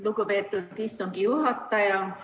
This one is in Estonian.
Lugupeetud istungi juhataja!